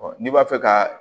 n'i b'a fɛ ka